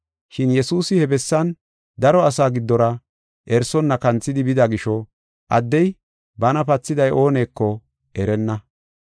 Shin Yesuusi he bessan daro asaa giddora erisonna kanthidi bida gisho addey bana pathiday ooneko erenna.